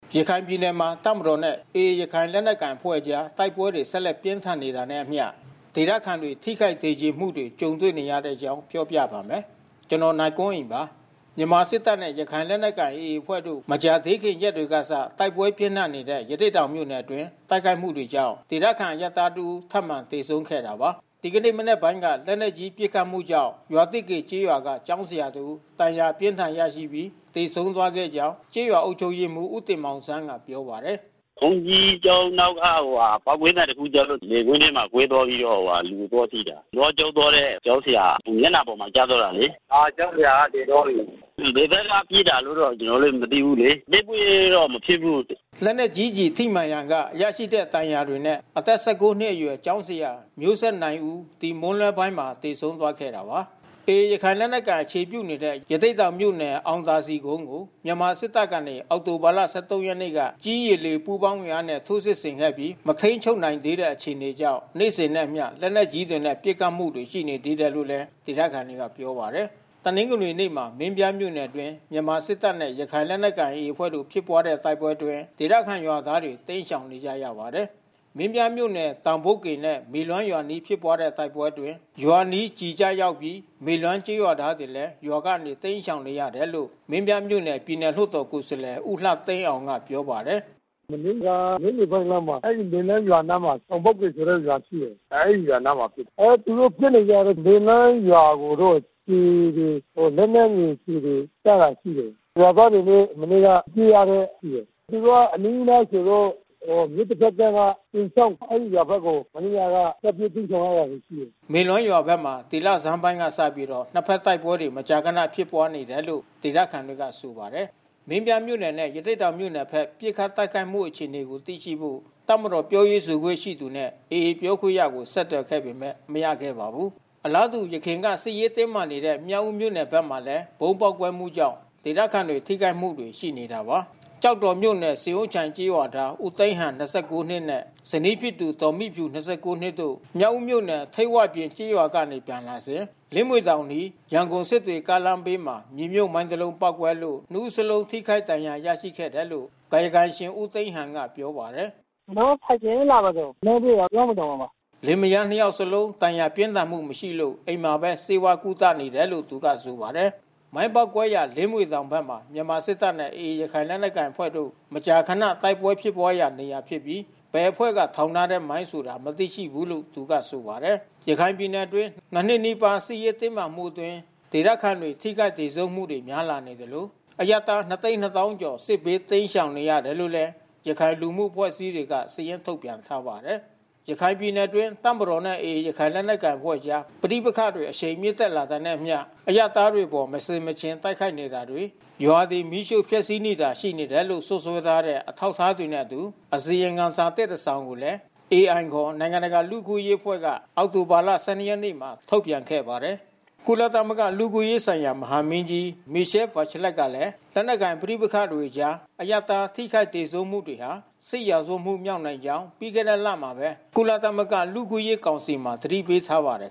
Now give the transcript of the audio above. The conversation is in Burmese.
ရခိုင်ပြည်နယ်မှာ တပ်မတော်နဲ့ AA ရခိုင်လက်နက်ကိုင်အဖွဲ့ကြား တိုက်ပွဲတွေ ဆက်လက်ပြင်းထန်နေတာနဲ့အမျှ ဒေသခံတွေ ထိခိုက်သေကြေမှုတွေ ကြုံနေရတဲ့အကြောင်းကို ဗွီအိုအေမြန်မာပိုင်းသတင်းထောက် ကိုနိုင်ကွန်းအိန်က ပြောပြပါမယ်။ မြန်မာစစ်တပ်နဲ့ ရခိုင်လက်နက်ကိုင် AA အဖွဲ့တို့ မကြာသေးခင်ရက်တွေကစ တိုက်ပွဲပြင်းထန်နေတဲ့ ရသေ့တောင်မြို့နယ်အတွင်း တိုက်ခိုက်မှုတွေကြောင့် ဒေသခံ အရပ်သားတဦး ထပ်မံသေဆုံးခဲ့တာပါ။ ဒီကနေ့ မနက်ပိုင်းက လက်နက်ကြီး ပစ်ခတ်မှုကြောင့် ရွာသစ်ကေကျေးရွာက ကျောင်းဆရာတဦး ဒဏ်ရာအပြင်းအထန် ရရှိပြီးသေဆုံးသွားခဲ့ကြောင်း ကျေးရွာအုပ်ချုပ်ရေးမှူး ဦးတင်မောင်ဆန်းကပြောပါတယ်။ “ဘုန်းကြီးကျောင်းနောက်က ပေါက်ကွဲသံတခုကြားတော့ လယ်ကွင်းထဲမှာကွဲသွားပြီးတော့ လူကိုသွားထိတာ။ နွားကျောင်းသွားတဲ့ကျောင်းဆရာ မျက်နှာပေါ်မှာ ကျသွားတာလေ။ ကျောင်းဆရာက သေသွားပြီ။ ဘယ်ဘက်က ပစ်တာလို့တော့ ကျနော်လည်း မသိဘူးလေ။ တိုက်ပွဲကမဖြစ်ဘူး။” လက်နက်ကြီးကျည်ထိမှန်ရာက ရရှိခဲ့တဲ့ ဒဏ်ရာတွေနဲ့ အသက် ၁၉ နှစ်အရွယ် ကျောင်းဆရာ မျိုးဆက်နိုင်ဦး မွန်းလွဲပိုင်းမှာ သေဆုံးသွားခဲ့တာပါ။ AA ရခိုင်လက်နက်ကိုင်အဖွဲ့ အခြေပြုနေတဲ့ ရသေ့တောင်မြို့နယ် အောင်သာစည်ကုန်းကို မြန်မာစစ်တပ်ကနေ အောက်တိုဘာ ၁၃ ရက်နေ့က ကြည်း၊ ရေ၊ လေ ပူးပေါင်းအင်အားနဲ့ ထိုးစစ်ဆင်ခဲ့ပြီး မထိန်းချုပ်နိုင်သေးတဲ့ အခြေအနေကြောင့် နေ့စဉ်နဲ့အမျှ လက်နက်ကြီးတွေနဲ့ ပစ်ခတ်မှှုတွေ ရှိနေသေးတယ်လို့လည်း ဒေသခံတွေက ပြောပါတယ်။ တနင်္ဂနွေနေ့မှာ မင်းပြားမြို့နယ်အတွင်း မြန်မာစစ်တပ်နဲ့ ရခိုင်လက်နက်ကိုင် AA အဖွဲ့တို့ ဖြစ်ပွါးတဲ့တိုက်ပွဲအတွင်း ဒေသခံရွာသားတွေ တိမ်းရှောင်နေကြရပါတယ်။ မင်းပြားမြို့နယ် တောင်ပုတ်ကေနဲ့မေလွမ်းရွာအနီး ဖြစ်ပွါးတဲ့တိုက်ပွဲအတွင်း ရွာအနီးကျည်ကျရောက်ပြီး မေလွမ်း ရွာသားတွေလည်း ရွာကနေတိမ်းရှောင်နေရတယ်လို့ မင်းပြားမြို့နယ်ပြည်နယ်လွှတ်တော် ကိုယ်စားလှယ် ဦးလှသိန်းအောင်ကပြောပါတယ်။ “မနေ့က နေ့လယ်ပိုင်းလောက်မှာ အဲဒီမေလွမ်းရွာအနားမှာ တောင်ပုတ်က ရွာရှိတယ်။ အဲဒီရွာအနားမှာဖြစ်တယ်။ သူတို့ ပစ်နေကြတယ် မေလွမ်းရွာကိုတော့ ကျည်တွေ လက်နက်ငယ်ကျည်တွေကျတာ ရှိတယ်။ ရွာသားတွေလည်း မနေ့က ပြေးရတယ်ရှိတယ်။ သူတို့ကအနီးနားဆိုလို့ မြစ်တဘက်ကမ်းက ကျိန်ချောင်း အဲဒီရွာဘက်ကို မနေ့ညက ထွက်ပြေးတိမ်းရှောင်ရတာရှိတယ်။” မေလွမ်းရွာဘက်မှာ ဒီလဆန်းပိုင်းကစပြီး နှစ်ဘက်တိုက်ပွဲတွေ မကြာခဏ ဖြစ်ပွါးနေတယ်လို့ ဒေသခံတွေက ဆိုပါတယ်။ မင်းပြားမြို့နယ်နဲ့ ရသေ့တောင်မြို့နယ်ဘက် ပစ်ခတ်တိုက်ခိုက်မှု အခြေအနေကို သိရှိဖို့ တပ်မတော်ပြောရေးဆိုခွင့် ရှိသူနဲ့ AA ပြောခွင့်ရကို ဆက်သွယိခဲ့ပေမဲ့ မရခဲ့ပါဘူး။ အလားတူ အရင်က စစ်ရေးတင်းမာနေတဲ့ မြောက်ဦးမြို့နယ်ဘက်မှာလည်း ဗုံးပေါက်ကွဲမှုကြောင့် ဒေသခံတွေထိခိုက်မှုတွေ ရှိနေတာပါ။ ကျောက်တော်မြို့နယ်၊ ဆင်အိုးချိုင်ကျေးရွာသား ဦးသိန်းဟန် ၂၉ နဲ့ ဇနီးဖြစ်သူ ဒေါ်မိဖြူ ၂၉ နှစ်တို့ မြောက်ဦးမြို့နယ်၊ ထိပ်ဝပြင်ကျေးရွာကနေ ပြန်လာစဉ် လင်မြွေတောင်အနီး၊ စစ်တွေ-ရန်ကုန်ကားလမ်းဘေးမှာ မြေမြှုပ်မိုင်းတစ်လုံးပေါက်ကွဲလို့ နှစ်ဦးစလုံး ထိခိုက်ဒဏ်ရာ ရရှိခဲ့တယ်လို့ ကာယကံရှင် ဦးသိန်းဟန်ကပြောပါတယ်။ “ကျနော်တို့ ဆိုင်ကယ်နဲ့ လာတာပါ။ မိုင်းထိတာလင်းမြွေတောင်မှာပါ။" လင်မယားနှစ်ယောက်လုံး ဒဏ်ရာပြင်းထန်မှု မရှိလို့ အိမ်မှာပဲ ဆေးဝါးကုသနေတယ်လို့ သူက ဆိုပါတယ်။ မိုင်းပေါက်ကွဲရာ လင်းမြွေတောင်ဘက်မှာ မြန်မာစစ်တပ်နဲ့ AA ရခိုင်လက်နက်ကိုင်အဖွဲ့တို့ မကြာခဏတိုက်ပွဲဖြစ်ပွါးရာ နေရာဖြစ်ပြီး ဘယ်အဖွဲ့ထောင်ထားတဲ့ မိုင်းဆိုတာ မသိရှိဘူးလို့ သူကဆိုပါတယ်။ ရခိုင်ပြည်နယ်အတွင်း နှစ်နှစ်နီးပါးစစ်ရေး တင်းမာမှုအတွင်း ဒေသခံတွေ ထိခိုက်သေဆုံးမှုတွေများလာနေသလို အရပ်သား ၂၂၀,၀၀၀ ကျော် စစ်ဘေးတိမ်းရှောင်နေရတယ်လို့ ရခိုင်လူမှုအဖွဲ့အစည်းတွေက စာရင်းထုတ်ပြန်ထားပါတယ်။ ရခိုင်ပြည်နယ်အတွင်း တပ်မတော်နဲ့ AA ရခိုင်လက်နက်ကိုင်အဖွဲ့ကြား ပဋိပက္ခတွေ အရှိန်မြင့်တက်လာတာနဲ့အမျှ အရပ်သားတွေအပေါ် မဆင်မခြင်တိုက်ခိုက်နေတာတွေ၊ ရွာတွေ မီးရှို့ဖျက်စီးနေတာတွေ ရှိနေတယ်လို့ စွပ်စွဲထားတဲ့ အထောက်အထားတွေနဲ့အတူ အစီရင်ခံစာသစ် တခုကိုလည်း AI ခေါ် နိုင်ငံတကာ လူ့အခွင့်ရေးလှုပ်ရှားမှု အဖွဲ့က အောက်တိုဘာလ ၁၂ ရက်နေ့မှာ ထုတ်ပြန်ခဲ့ပါတယ်။ ကုလသမဂ္ဂ လူ့အခွင့်အရေးဆိုင်ရာ မဟာမင်းကြီး Michelle Bachelet ကလည်း လက်နက်ကိုင် ပဋိပက္ခတွေကြား အရပ်သား ထိခိုက်သေဆုံးမှု တွေဟာ စစ်ရာဇဝတ်မှု မြောက်နိုင်ကြောင်း ပြီးခဲ့တဲ့လထဲမှာပဲ ကုလသမဂ္ဂ လူ့အခွင့်အရေး ကောင်စီမှာ သတိပေးထားပါတယ်